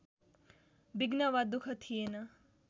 विघ्न वा दुःख थिएन